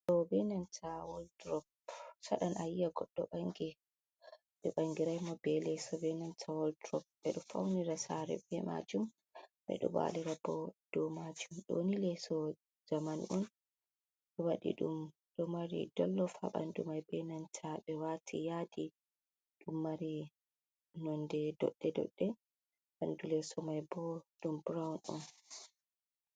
Ɗo be nanta waldrop saɗan a yi, a goɗɗo ɓangi ɓe ɓangiraymo be leso benanta waltrop. Ɓe ɗo faunira sare be majum. Ɓe ɗo walira bo do majum. Ɗoni leso zamanu’on waɗiɗum ,ɗo mari dollof ha ɓandumai benanta ɓe wati yadi ɗum mari nonde doɗɗe doɗɗe ɓandu lesomay bo ɗum brown on.